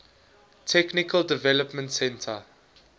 technical development center